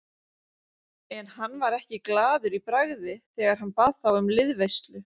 En hann var ekki glaður í bragði þegar hann bað þá um liðveislu.